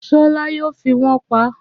Ṣọlá yóò fi wón paá